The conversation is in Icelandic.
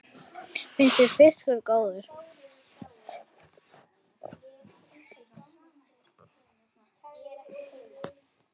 Finnst þér fiskur góður?